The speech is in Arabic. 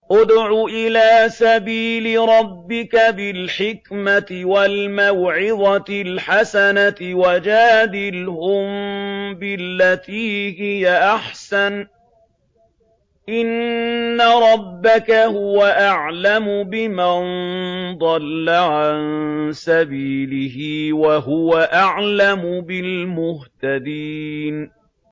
ادْعُ إِلَىٰ سَبِيلِ رَبِّكَ بِالْحِكْمَةِ وَالْمَوْعِظَةِ الْحَسَنَةِ ۖ وَجَادِلْهُم بِالَّتِي هِيَ أَحْسَنُ ۚ إِنَّ رَبَّكَ هُوَ أَعْلَمُ بِمَن ضَلَّ عَن سَبِيلِهِ ۖ وَهُوَ أَعْلَمُ بِالْمُهْتَدِينَ